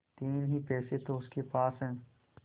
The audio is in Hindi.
तीन ही पैसे तो उसके पास हैं